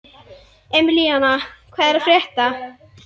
Emilíana, hvað er að frétta?